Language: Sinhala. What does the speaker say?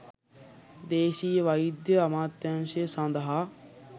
දේශීය වෛද්‍ය අමාත්‍යාංශය සඳහා